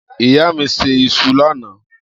Iya mi se iṣu lana.